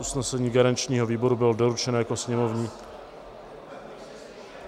Usnesení garančního výboru bylo doručeno jako sněmovní...